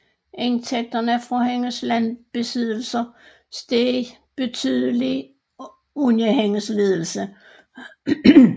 Indtægterne fra hendes landbesiddelser steg betydeligt under hendes ledelse